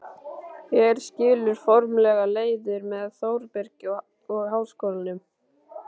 Hér skilur formlega leiðir með Þórbergi og Háskólanum.